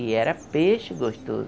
E era peixe gostoso.